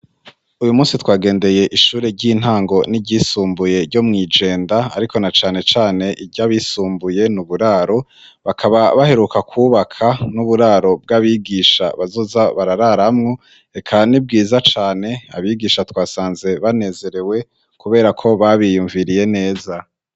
Uyu munsi twagendeye ishure ry'intango n'iryisumbuye ryo mw'Ijenda, ariko na cane cane iry'abisumbuye ni uburaro; bakaba baheruka kwubaka n'uburaro bw'abigisha bazoza barararamwo. Eka ni bwiza cane, abigisha twasanze banezerewe kubera ko babiyumviriye neza.